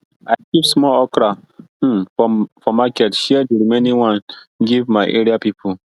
i keep small okra um for market share di remaining give my area people